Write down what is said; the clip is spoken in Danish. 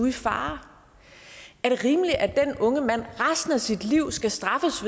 i fare er det rimeligt at den unge mand resten af sit liv skal straffes